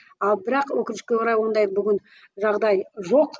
ал бірақ өкінішке орай ондай бүгін жағдай жоқ